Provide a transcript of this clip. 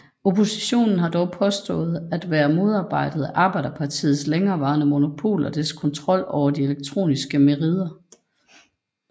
Oppositionen har dog påstået at være blevet modarbejdet af Arbejderpartiets længereværende monopol og dets kontrol over de elektroniske merider